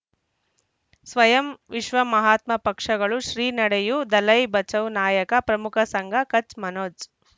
ಸ್ವಯಂ ವಿಶ್ವ ಮಹಾತ್ಮ ಪಕ್ಷಗಳು ಶ್ರೀ ನಡೆಯೂ ದಲೈ ಬಚೌ ನಾಯಕ ಪ್ರಮುಖ ಸಂಘ ಕಚ್ ಮನೋಜ್